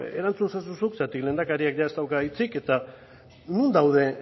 erantzun ezazu zuk zeren lehendakariak jada ez dauka hitzik eta non daude